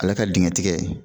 Ale ka dingɛ tigɛ.